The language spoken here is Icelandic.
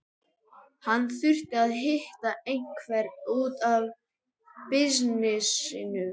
Hann þurfti að hitta einhvern út af bisnessinum.